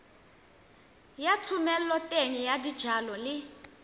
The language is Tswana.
ya thomeloteng ya dijalo le